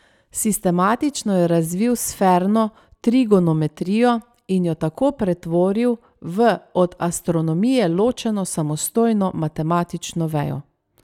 Sistematično je razvil sferno trigonometrijo in jo tako pretvoril v od astronomije ločeno samostojno matematično vejo.